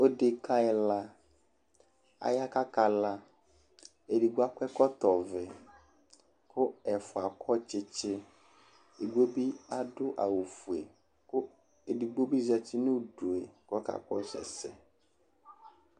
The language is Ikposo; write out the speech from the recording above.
Odekǝ ɛla, aya kʋ akala Edigbo akɔ ɛkɔtɔvɛ kʋ ɛfʋa akɔ tsɩtsɩ Edigbo bɩ adʋ awʋfue kʋ edigbo bɩ zati nʋ udu yɛ kʋ ɔkakɔsʋ ɛsɛ